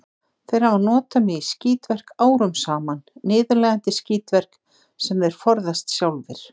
Þeir hafa notað mig í skítverk árum saman, niðurlægjandi skítverk, sem þeir forðast sjálfir.